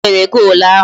Onye nyere golu ahụ?